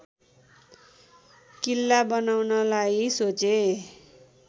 किल्ला बनाउनलाई सोचे